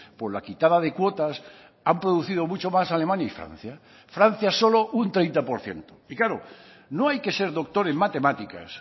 por la quitada de cuotas han producido mucho más alemania y francia francia solo un treinta por ciento y claro no hay que ser doctor en matemáticas